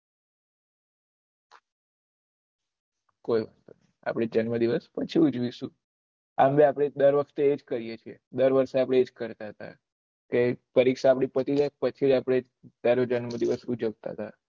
કોઈ નહી આપળે જન્મ દિવસ પછી ઉજવીશું આમ ભી આપળે ડર વખતે એજ કર્યે છે દર વર્ષે આપળે એજ કરતા હતા કે પરીક્ષા આપળી આપતી જાય પછી આપળે તારો જન્મ દિવસ ઉજ્વળતા હતા કોઈ નહી આપળે જન્મ દિવસ પછી ઉજવીશું